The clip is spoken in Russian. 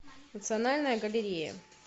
национальная галерея